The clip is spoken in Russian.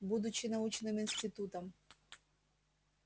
будучи научным институтом